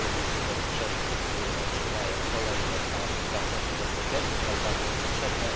r. rolnicy bez przeszkód otrzymają kolejne transze płatności bezpośrednich, tak bardzo im potrzebne.